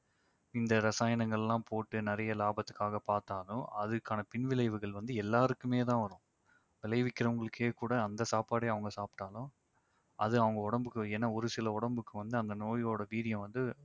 இந்த ரசாயனங்கல்லாம் போட்டு நிறைய லாபத்துக்காக பாத்தாலும் அதற்கான பின்விளைவுகள் வந்து எல்லாருக்குமே தான் வரும். விளைவிக்கிறவங்களுக்கே கூட அந்த சாப்பாடே அவங்க சாப்பிட்டாலும் அது அவங்க உடம்புக்கு ஏன்னா ஒருசில உடம்புக்கு வந்து அந்த நோயுடைய வீரியம் வந்து